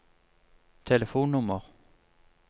telefonnummer